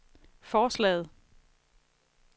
forslaget